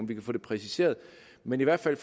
vi kan få det præciseret men i hvert fald